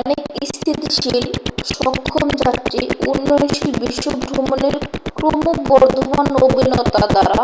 অনেক স্থিতিশীল সক্ষম যাত্রী উন্নয়নশীল বিশ্ব ভ্রমণের ক্রমবর্ধমান নবীনতা দ্বারা